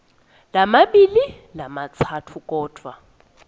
lamabili lamatsatfu kodvwa